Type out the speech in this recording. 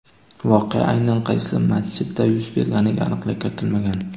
Voqea aynan qaysi masjidda yuz berganiga aniqlik kiritilmagan.